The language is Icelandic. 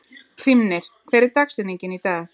Hrímnir, hver er dagsetningin í dag?